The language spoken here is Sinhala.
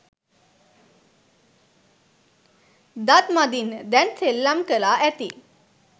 දත් මදින්න දැන් සෙල්ලම් කළා ඇති